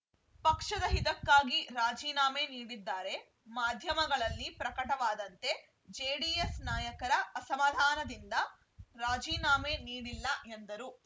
ಪಕ್ಷದ ಹಿತಕ್ಕಾಗಿ ರಾಜೀನಾಮೆ ನೀಡಿದ್ದಾರೆ ಮಾಧ್ಯಮಗಳಲ್ಲಿ ಪ್ರಕಟವಾದಂತೆ ಜೆಡಿಎಸ್‌ ನಾಯಕರ ಅಸಮಾಧಾನದಿಂದ ರಾಜೀನಾಮೆ ನೀಡಿಲ್ಲ ಎಂದರು